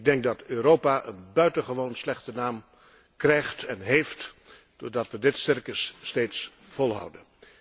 Ik denk dat Europa een buitengewoon slechte naam krijgt en heeft doordat we dit circus steeds volhouden.